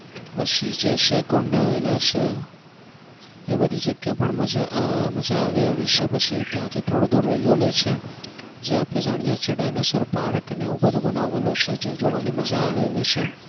પછી જે છે કુંડ આવેલા છે એ બધી જગ્યા પણ મજા આહ મજા આવે એવી છે પછી ત્યાં થી થોડું દૂર છે જ્યાં આપણે જાણીએ છીએ dianosar park ને એવું બનાવેલું છે જે જોવાની મજા આવે એવી છે